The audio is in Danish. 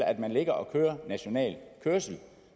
at man ligger og kører national kørsel og